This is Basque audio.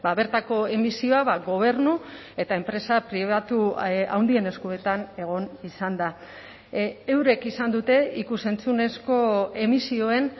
bertako emisioa gobernu eta enpresa pribatu handien eskuetan egon izan da eurek izan dute ikus entzunezko emisioen